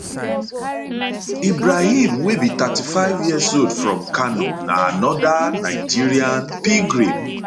ibrahim wey be 35yearold from kano na anoda nigerian pilgrim